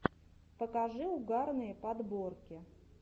покажи угарные подборки